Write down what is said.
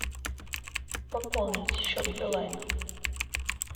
пополнить счет билайн